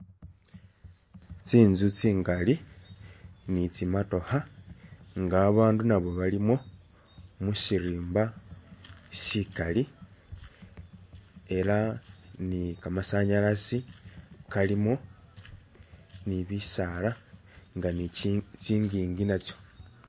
Tsinzu tsingali ni tsi'motokha nga abandu nabo balimo musirimba sikali elah ni kamasanyalasi kalimo ni'bisaala nga ni'chingingi natso